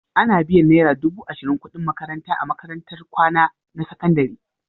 Ana biyan naira dubu ashirin kuɗin makaranta a makarantun kwana na sakandare.